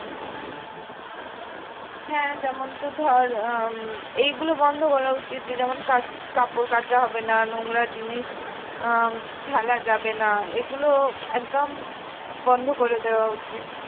হ্যাঁ যেমন তোর ধর আহ উম এইগুলো বন্ধ করা উচিত যে যেমন কা কাপড় কাচা হবে না নোংরা জিনিস আহ ফেলা যাবে না এগুলো একদম বন্ধ করে দেওয়া উচিত